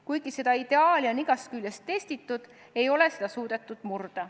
Kuigi seda ideaali on igast küljest testitud, ei ole seda suudetud murda.